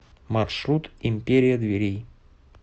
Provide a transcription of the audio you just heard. маршрут империя дверей